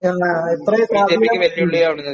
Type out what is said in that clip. ആ എത്ര പ്രാധാന്യം